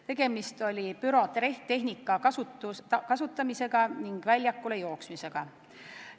Tegemist oli pürotehnika kasutamisega ning väljakule jooksmisega.